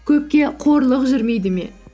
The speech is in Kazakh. көпке қорлық жүрмейді ме